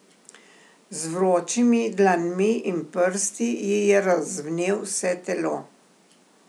Z vročimi dlanmi in prsti ji je razvnel vse telo.